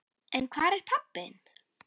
En hvar er pabbi þinn?